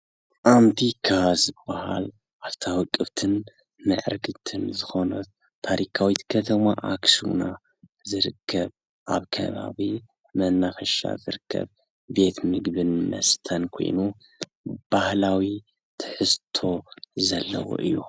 ኣንቲካ ዝበሃል ኣፍታ ውቅብት ምዕርግትን ዝኮነት ታረካዊት ከተማ ኣክሱምና ዝርከብ ኣብ ከባቢ መናፈሻ ዝርከብ ቤት ምግብን መስተን ኾይኑ ባህላዊ ትሕዝቶ ዘለዎ እዩ።